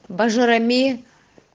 абажурами